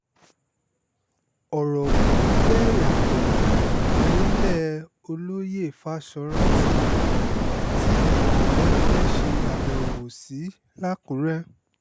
ọ̀rọ̀ kò fi bẹ́ẹ̀ yàtọ̀ nílẹ̀ olóyè fáṣọ́rántí tí ààrẹ fẹ́ẹ́ ṣe àbẹ̀wò sí làkùrẹ́